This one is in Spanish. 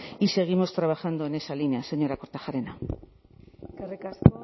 y seguimos trabajando en esa línea señora kortajarena eskerrik asko